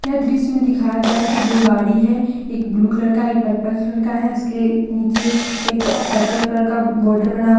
यह दृश्य में दिखया गया है कि दो गाड़ी है एक ब्लू कलर का एक पर्पल कलर है उसके नीचे एक पर्पल कलर का बॉर्डर बना हुआ --